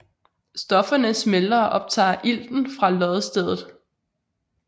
Stofferne smelter og optager ilten fra loddestedet